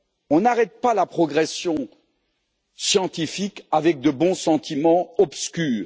On n'arrête pas la progression scientifique avec de bons sentiments obscurs.